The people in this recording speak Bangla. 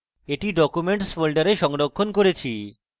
আমি এটি আমার documents folder সংরক্ষণ করেছি